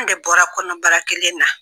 An de bɔra kɔnɔ baara kelen na.